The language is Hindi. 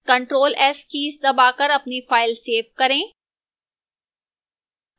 ctrl + s कीज़ दबाकर अपनी file सेव करें